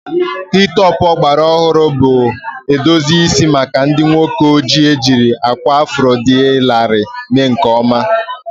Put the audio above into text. Hi-topụ fedi ọgbara ọhụrụ bụ edozi isi maka ndị nwoke ojii ejiri akwa afro dị larịị mee nke ọma